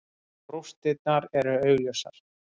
Rústirnar eru augljósar.